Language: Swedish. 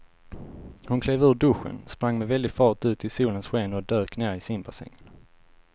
Hon klev ur duschen, sprang med väldig fart ut i solens sken och dök ner i simbassängen.